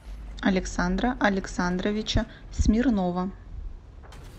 александра александровича смирнова